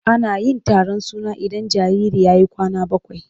Ana yin taron suna idan jariri ya yi kwana bakwai.